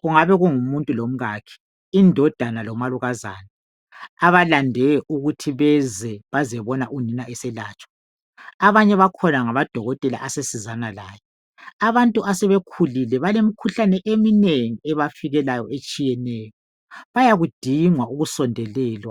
kungabe kungumuntu lomkakhe , indodana lomalukazana abalande ukuthi beze bazebona unina eselatshwa , abanye bakhona ngamadokotela asesizana laye , abantu asebekhulile balemkhuhlane eminengi ebafikelayo etshiyeneyo bayakudinga ukusondelelwa